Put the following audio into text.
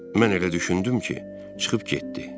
Mən elə düşündüm ki, çıxıb getdi.